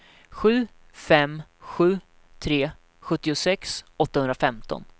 sju fem sju tre sjuttiosex åttahundrafemton